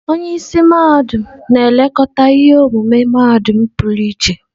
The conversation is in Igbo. Onye isi mahadum na-elekọta ihe omume mahadum pụrụ iche.